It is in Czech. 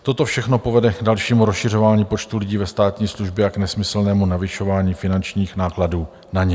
Toto všechno povede k dalšímu rozšiřování počtu lidí ve státní službě a k nesmyslnému navyšování finančních nákladů na ně.